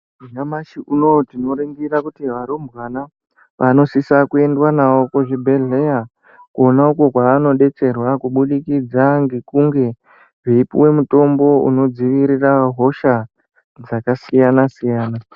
Nyamashi unoyu tinoringira kuti varumbwana vanosiswa kuenda navo kuzvibhedhlera konauko kwevanodetserwa kubudikidza ngekunge veipuwa mutombo unodziirira hosha dzakasiyana-siyana.